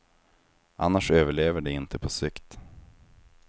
Annars överlever de inte på sikt.